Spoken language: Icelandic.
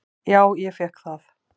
"""Já, ég fékk það."""